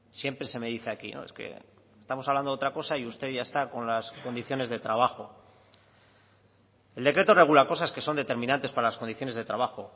siempre se me dice aquí no es que estamos hablando de otra cosa y usted ya está con las condiciones de trabajo el decreto regula cosas que son determinantes para las condiciones de trabajo